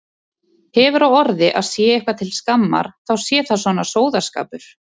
Hefur á orði að sé eitthvað til skammar þá sé það svona sóðaskapur.